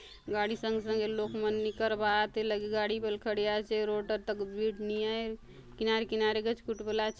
गाड़ी संगे - संगे लोक मन निकर बा आत ए लगे गाड़ी बले खड़े आचे रोड र तक भीड़ निआय किनारे - किनारे गच खुट बले आसे।